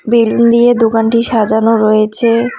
Balloon দিয়ে দোকানটি সাজানো রয়েছে।